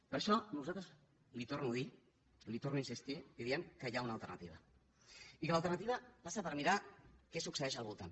per això nosaltres li ho torno a dir hi torno a insistir li diem que hi ha una alternativa i que l’alternativa passa per mirar què succeeix al voltant